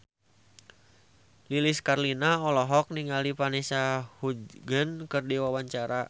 Lilis Karlina olohok ningali Vanessa Hudgens keur diwawancara